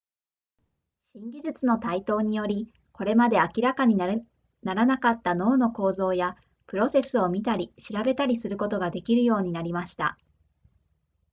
新技術の台頭によりこれまで明らかにならなかった脳の構造やプロセスを見たり調べたりすることができるようになりました